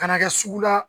Kana kɛ sugu la